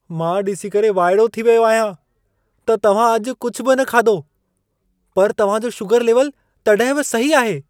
मां ॾिसी करे वाइड़ो थी वियो आहियां त तव्हां अॼु कुझु बि न खाधो, पर तव्हां जो शूगरु लेवल तॾहिं बि सही आहे!